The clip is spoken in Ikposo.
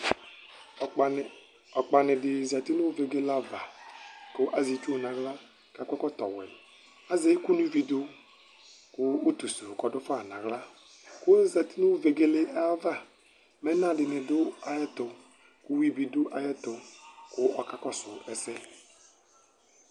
ɔkpani di zati no vegele ava ko azɛ itsu n'ala k'akɔ ɛkɔtɔ wɛ k'azɛ iko no ivi do ko utu so ɔdo fa n'ala ozati no vegele ayava mɛ ɛna dini do ayɛto ko uwi bi do ayɛto ko ɔka kɔso ɛsɛ